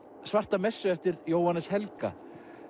svarta messu eftir Jóhannes Helga